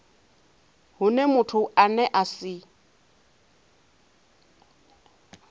hune muthu ane a si